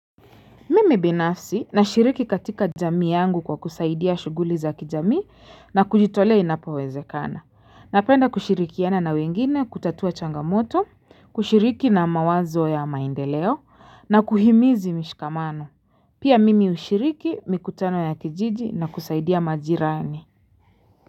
Mimi binafsi na shiriki katika jamii yangu kwa kusaidia shuguli za kijamii na kujitolea inapowezekana. Napenda kushirikiana na wengine kutatua changamoto, kushiriki na mawazo ya maendeleo na kuhimizi mishikamano. Pia mimi ushiriki mikutano ya kijiji na kusaidia majirani.